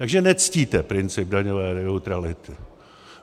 Takže nectíte princip daňové neutrality.